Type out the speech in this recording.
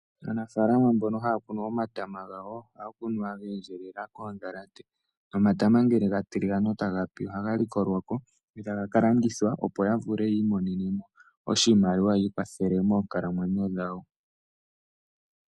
Aanafalama mbono haya kunu omatama gawo ohaya kunu geendjelela koodhalate. Omatama ngele gatiligana ohaga likolwako, opo gaka landithwe ya mone iiyemo.